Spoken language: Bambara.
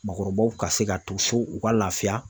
Maakɔrɔbaw ka se ka to so u ka lafiya.